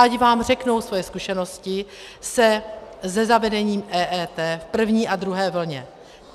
Ať vám řeknou svoje zkušenosti se zavedením EET v první a druhé vlně.